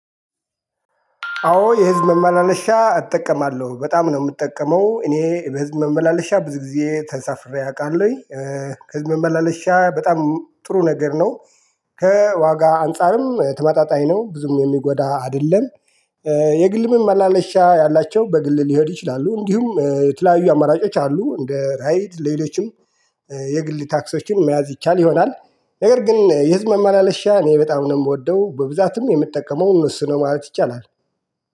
አዎ የህዝብ መመላለሻ እጠቀማለሁ በጣም ነው የምጠቀመው እኔ በህዝብ መመላለሻ ብዙ ጊዜ ተሳፍሬ አውቃለሁኝ ህዝብ መላለሻ በጣም ጥሩ ነገር ነው። ከዋጋ አንፃርም ተመጣጣኝ ነው ብዙም የሚጎዳ አይደለም። የግልም መመላለሻ ያላቸው በግል ሊሄዱ ይችላሉ እንዲሁም የተለያዩ አማራጮች አሉ እንደ ራይድ ለሌሎችም የግል ታክሲዎችን መያዝ ይቻል ይሆናል። ነገር ግን የህዝብ መመላለሻ እኔ በጣም ነው የምወደው በብዛትም የምጠቀመው እነሱን ነው ማለት ይቻላል።